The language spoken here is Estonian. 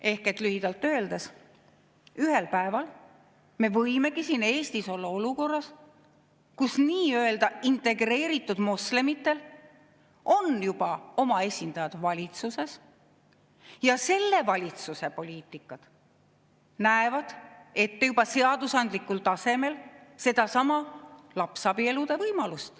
Ehk lühidalt öeldes, ühel päeval me võimegi Eestis olla olukorras, kus nii-öelda integreeritud moslemitel on oma esindajad valitsuses ja selle valitsuse poliitikad näevad ette juba seadusandlikul tasemel sedasama lapsabielude võimalust.